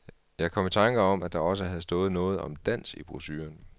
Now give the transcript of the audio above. Jeg kom i tanker om, at der også havde stået noget om dans i brochuren.